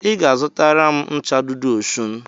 Ị ga-azụtara m ncha Dudu Osun